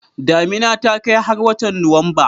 Damina ta kai har watan Nuwamba